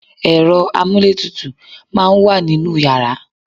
Ẹ̀rọ amúlétutù máa ń wà nínú yàrá